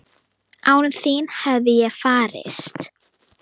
Án þín hefði ég farist?